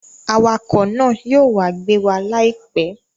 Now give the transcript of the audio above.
Awakọ̀ náà yóò wá gbé wa láìpẹ́